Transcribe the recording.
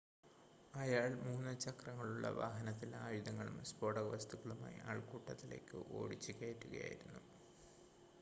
അയാൾ 3 - ചക്രങ്ങളുള്ള വാഹനത്തിൽ ആയുധങ്ങളും സ്ഫോടകവസ്തുക്കളുമായി ആൾക്കൂട്ടത്തിലേയ്ക്ക് ഓടിച്ചുകയറ്റുകയായിരുന്നു